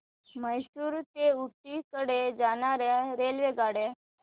म्हैसूर ते ऊटी कडे जाणार्या रेल्वेगाड्या